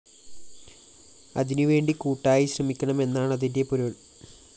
അതിനുവേണ്ടി കൂട്ടായി ശ്രമിക്കണം എന്നാണതിന്റെ പൊരുള്‍